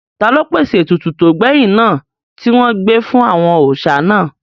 Taló pèsè ètùtù tó gbẹ̀yìn náà tí wọn gbé fún àwọn òòsà náà?